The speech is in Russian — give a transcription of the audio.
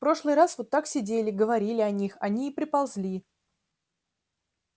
в прошлый раз вот так сидели говорили о них они и приползли